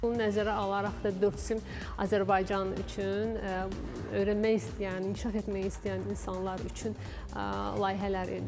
Bunu nəzərə alaraq da Dördsüm Azərbaycan üçün öyrənmək istəyən, inkişaf etmək istəyən insanlar üçün layihələr edir.